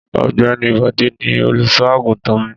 Ọ̀gbẹ́ni Bọ̀dé ni olùṣọ́-àgùntàn mi.